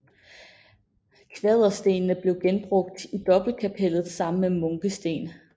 Kvaderstenene blev genbrugt i dobbeltkapellet sammen med munkesten